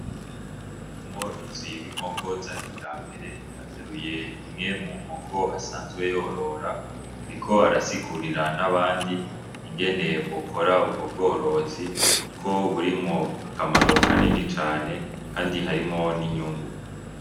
Umworozi w'inkoko za kija mbere ateruye imwe mu nkoko asanzwe yorora, ariko arasigurira n'abandi ingene bokora ubwo bworozi, kuko buri mu akamarokanini cane, kandi harimo n'inyungu.